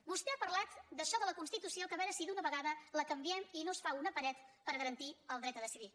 vostè ha parlat d’això de la constitució que a veure si d’una vegada la canviem i no es fa una paret per garantir el dret a decidir